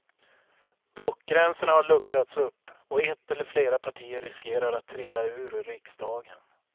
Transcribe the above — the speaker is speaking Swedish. Blockgränserna har luckrats upp och ett eller flera partier riskerar att trilla ur riksdagen.